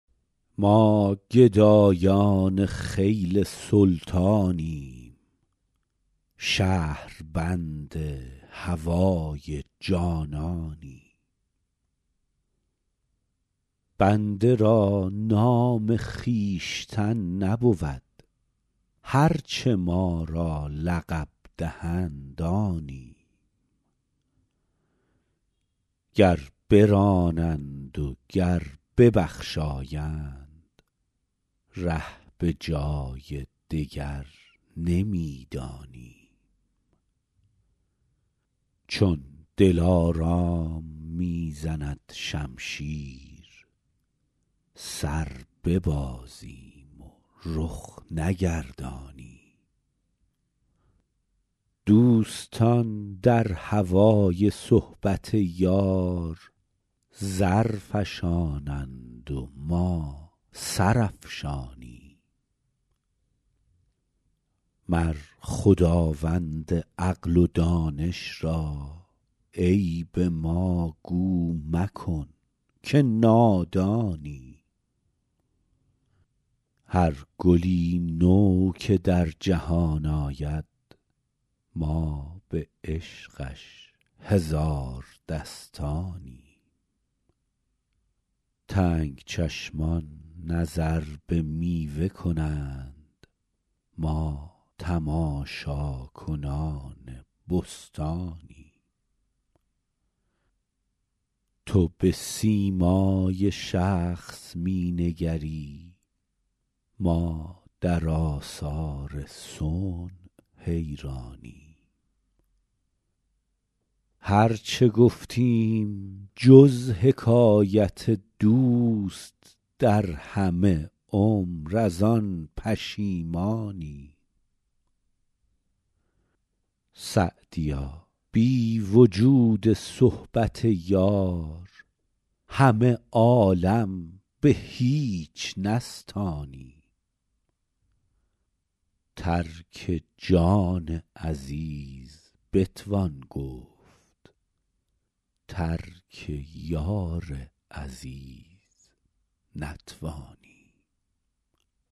ما گدایان خیل سلطانیم شهربند هوای جانانیم بنده را نام خویشتن نبود هر چه ما را لقب دهند آنیم گر برانند و گر ببخشایند ره به جای دگر نمی دانیم چون دلارام می زند شمشیر سر ببازیم و رخ نگردانیم دوستان در هوای صحبت یار زر فشانند و ما سر افشانیم مر خداوند عقل و دانش را عیب ما گو مکن که نادانیم هر گلی نو که در جهان آید ما به عشقش هزار دستانیم تنگ چشمان نظر به میوه کنند ما تماشاکنان بستانیم تو به سیمای شخص می نگری ما در آثار صنع حیرانیم هر چه گفتیم جز حکایت دوست در همه عمر از آن پشیمانیم سعدیا بی وجود صحبت یار همه عالم به هیچ نستانیم ترک جان عزیز بتوان گفت ترک یار عزیز نتوانیم